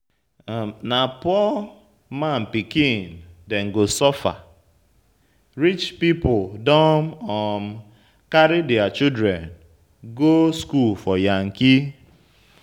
Na poor man pikin dem go suffer, rich pipu don um carry their children go school for yankee.